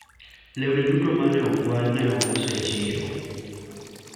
lewni duto mane okwal ne ous e chiro